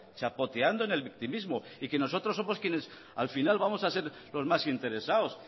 chapoteando en el victimismo y que nosotros somos quienes al final vamos a ser los más interesados